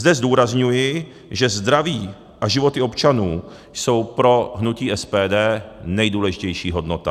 Zde zdůrazňuji, že zdraví a životy občanů jsou pro hnutí SPD nejdůležitější hodnota.